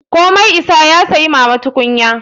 Ko mai isa ya saya mama tukunya.